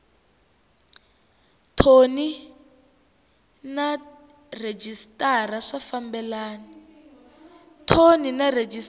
thoni na rhejisitara swi fambelana